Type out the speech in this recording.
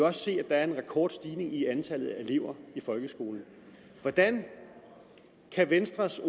også se at der er en rekordstigning i antallet af elever i folkeskolen hvordan kan venstres